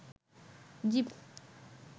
zip